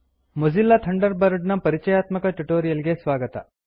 Mozilla Thunderbird ನ ಪರಿಚಯಾತ್ಮಕ tutorial ಗೆ ಸ್ವಾಗತ